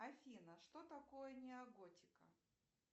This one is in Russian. афина что такое неоготика